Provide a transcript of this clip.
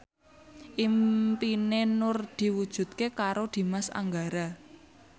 impine Nur diwujudke karo Dimas Anggara